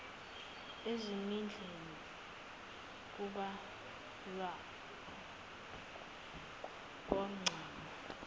ezimendleni kubhalwe kwagqama